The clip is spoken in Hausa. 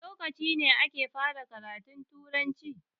Wane lokaci ne ake fara karatun Turanci?